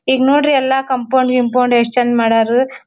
ಈಗ್ ನೋಡ್ರಿ ಎಲ್ಲಾ ಕಾಂಪೌಂಡ್ ಗಿಂಪೌಂಡ್ ಯೆಸ್ಟ್ ಚೆಂದ ಮಾಡ್ಯಾರ್.